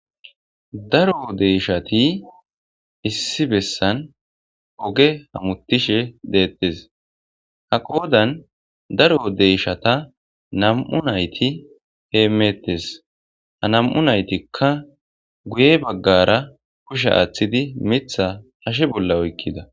Daro deyshati issi bessan oge hamutishe deettes ha qoodan daro deyshata nam'u nayti heemeettes ha nam'u naytikka guye baggara kushe aaththidi mitha hashe bolla oykkida.